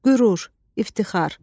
Qürur, iftixar.